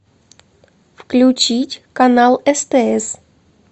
включить канал стс